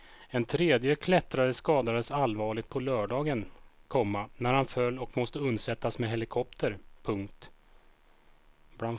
En tredje klättrare skadades allvarligt på lördagen, komma när han föll och måste undsättas med helikopter. punkt